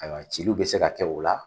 Ayiwa ciliw bɛ se ka kɛ o la.